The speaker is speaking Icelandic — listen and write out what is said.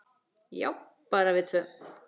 Já, bara við tvö.